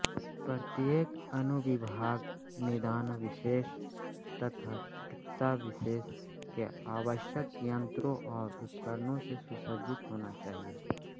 प्रत्येक अनुविभाग निदानविशेष तथा चिकित्साविशेष के आवश्यक यंत्रों और उपकरणों से सुसज्जित होना चाहिए